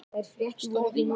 stóð í